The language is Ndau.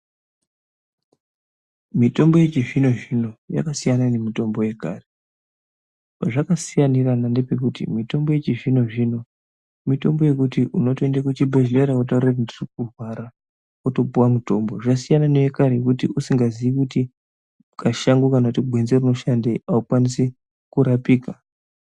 Mitombo yechizvino zvino yakasiyana nemitombo yekare. Pazvakasiyanirana ngepekuti mitombo yachizvino zvino mitombo yekuti unotoenda kuchibhedhlera wotaura kuti ndirikurwara wotopuwa mutombo. Zvasiyana newekare wekuti kusingaziii kuti kashango kana kuti gwenzi iri rinoshandei aukwanisi kurapika.